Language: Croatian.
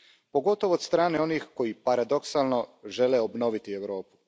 Pogotovo od strane onih koji, paradoksalno, žele obnoviti Europu.